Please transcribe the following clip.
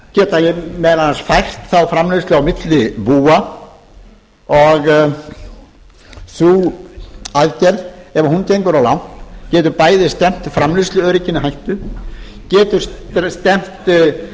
geta meðal annars fært þá framleiðslu á milli búa sú aðgerð ef hún gengur of langt getur bæði stefnt framleiðsluörygginu í hættu getur stefnt